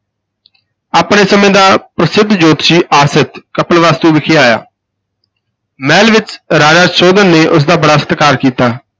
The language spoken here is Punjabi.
ਆਪਣੇ ਸਮੇਂ ਦਾ ਪ੍ਰਸਿੱਧ ਜੋਤਸ਼ੀ ਆਸਿਤ, ਕਪਿਲਵਸਤੂ ਵਿਖੇ ਆਇਆ ਮਹਿਲ ਵਿਚ ਰਾਜਾ ਸੁਧੋਧਨ ਨੇ ਉਸ ਦਾ ਬੜਾ ਸਤਿਕਾਰ ਕੀਤਾ।